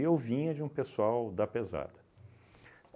vinha de um pessoal da pesada.